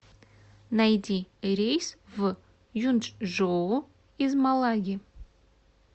найди рейс в юнчжоу из малаги